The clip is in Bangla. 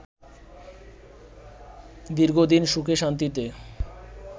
দীর্ঘদিন সুখে-শান্তিতে